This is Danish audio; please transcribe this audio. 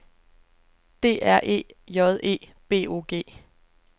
D R E J E B O G